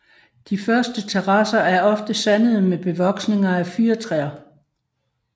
De første terrasser er ofte sandede med bevoksninger af fyrretræer